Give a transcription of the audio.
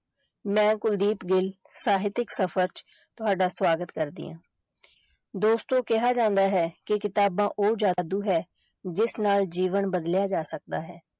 ਮੈਂ ਕੁਲਦੀਪ ਗਿੱਲ ਸਾਹਿਤਕ ਸਫ਼ਰ ਚ ਤੁਹਾਡਾ ਸਵਾਗਤ ਕਰਦੀ ਹਾਂ ਦੋਸਤੋ ਕਿਹਾ ਜਾਂਦਾ ਹੈ ਕਿ ਕਿਤਾਬਾਂ ਉਹ ਜਾਦੂ ਹੈ ਜਿਸ ਨਾਲ ਜੀਵਨ ਬਦਲਿਆ ਜਾ ਸਕਦਾ ਹੈ।